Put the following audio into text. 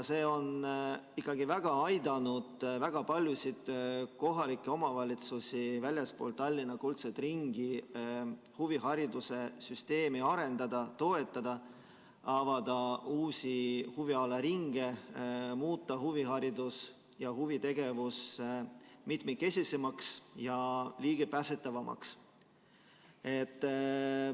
See on aidanud väga paljudel kohalikel omavalitsustel väljaspool Tallinna kuldset ringi huvihariduse süsteemi arendada, toetada, avada uusi huvialaringe, muuta huviharidust ja huvitegevust mitmekesisemaks ja ligipääsetavamaks.